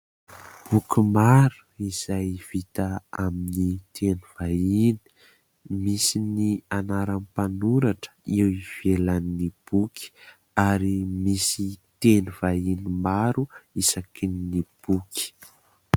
Boky maro izay vita amin'ny teny vahiny. Misy ny anaran'ny mpanoratra eo ivelan'ny boky ary misy teny vahiny maro isakin'ny boky.